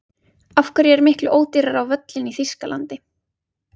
Af hverju er miklu ódýrara á völlinn í Þýskalandi?